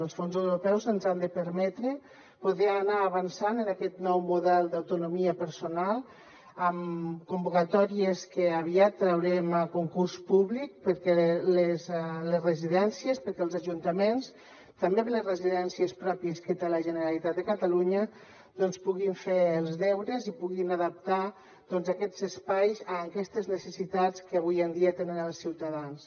els fons europeus ens han de permetre poder anar avançant en aquest nou model d’autonomia personal amb convocatòries que aviat traurem a concurs públic perquè les residències perquè els ajuntaments també les residències pròpies que té la generalitat de catalunya doncs puguin fer els deures i puguin adaptar aquests espais a aquestes necessitats que avui en dia tenen els ciutadans